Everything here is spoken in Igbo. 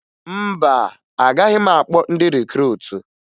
Mba, agaghị m akpọ ndị rikruutu